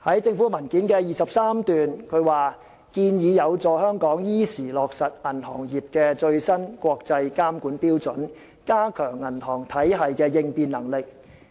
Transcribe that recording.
政府在文件第23段提到："建議有助香港依時落實銀行業的最新國際監管標準，加強銀行體系的應變能力。